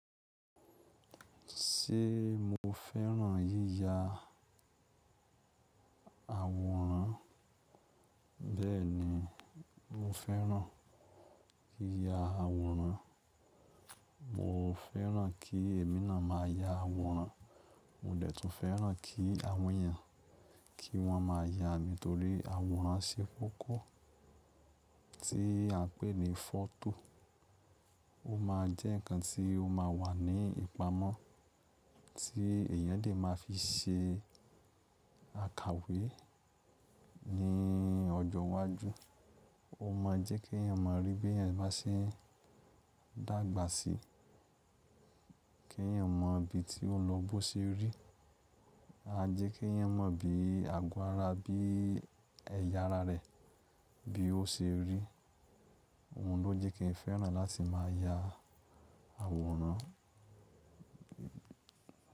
Ṣé mo fẹ́ràn yíya àwòrán? Bẹ́ẹ̀ni, mo fẹ́ràn kí ya àwòrán. Mo fẹ́ràn kí èmi náà máa ya àwòrán. Mo dẹ̀ tún fẹ́ràn kí àwọn èèyàn kí wọ́n máa ya mi torí àwòrán ṣe kókó tí a ń pè ní foto. Ó máa jẹ́ ǹkan tí ó máa wà ní ìpamọ́ tí èèyàn dè máa fi ṣe àkàwé ní ọjọ́ iwájú. Ó máa jẹ́ kí èèyàn ma rí bí èèyàn bá ṣe ń dàgbà sí. Kí èèyàn mọ̀ ibi tí ó lọ bó ṣe rí. A jẹ́ kí èèyàn mọ̀ bí àgọ́ ara, bí ẹ̀yà ara rẹ̀, bí ó ṣe rí. Òhun lọ́ jẹ́ kí n fẹ́ràn láti máa ya àwòrán.